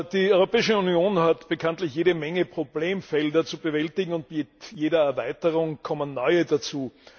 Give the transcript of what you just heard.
Die Europäische Union hat bekanntlich jede Menge Probleme zu bewältigen, und mit jeder Erweiterung kommen neue dazu.